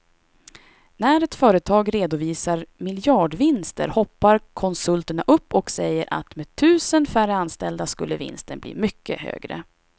När ett företag redovisar miljardvinster hoppar konsulterna upp och säger att med tusen färre anställda skulle vinsten bli mycket högre.